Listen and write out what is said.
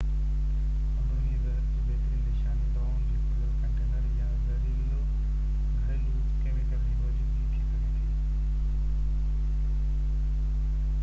اندروني زهر جو بهترين نشاني دوائن جو کليل ڪنٽينر يا زهريلو گهريلو ڪيميڪل جي موجودگي ٿي سگهي ٿي